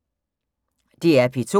DR P2